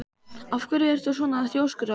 Af hverju ertu svona þrjóskur, Ásdór?